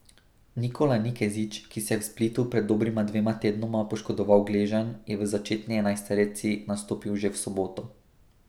Nikola Nikezić, ki si je v Splitu pred dobrima dvema tednoma poškodoval gleženj, je v začetni enajsterici nastopil že v soboto.